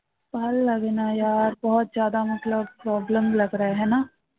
ভালো লাগে না problem